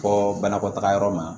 Fɔ banakɔtagayɔrɔ ma